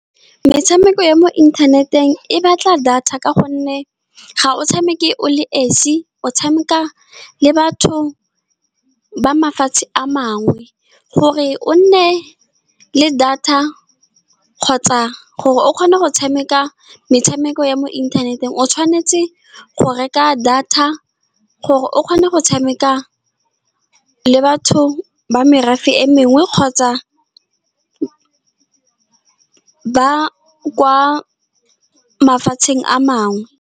Metshameko ya mo inthaneteng e batla data, ka gonne ga o tshameke o le nosi, o tshameka le batho ba mafatshe a mangwe. Gore o nne le data, kgotsa gore o kgone go tshameka metshameko ya mo inthaneteng, o tshwanetse go reka data gore o kgone go tshameka le batho ba merafe e mengwe, kgotsa ba kwa mafatsheng a mangwe.